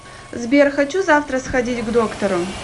сбер хочу завтра сходить к доктору